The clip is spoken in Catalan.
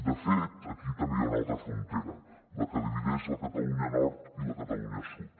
de fet aquí també hi ha una altra frontera la que di·videix la catalunya nord i la catalunya sud